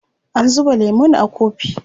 An zuba lemun a kofi.